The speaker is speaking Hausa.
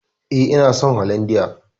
E, ina son holandiya.